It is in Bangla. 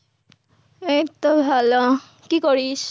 এইতো ভালো, কি করিস?